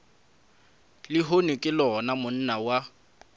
lehono ke lona monna wa